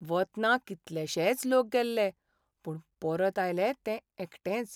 वतना कितलेशेंच लोक गेल्ले, पूण परत आयलें तें एकटेंच.